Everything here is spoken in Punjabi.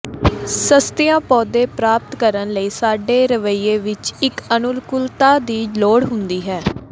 ਸਸਤੀਆਂ ਪੌਦੇ ਪ੍ਰਾਪਤ ਕਰਨ ਲਈ ਸਾਡੇ ਰਵੱਈਏ ਵਿੱਚ ਇੱਕ ਅਨੁਕੂਲਤਾ ਦੀ ਲੋੜ ਹੁੰਦੀ ਹੈ